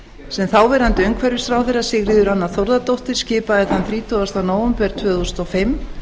sem þáverandi umhverfisráðherra sigríður anna þórðardóttir skipaði þann þrítugasta nóvember tvö þúsund og fimm